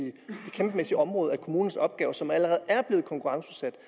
kæmpemæssige område af kommunernes opgaver som allerede er blevet konkurrenceudsat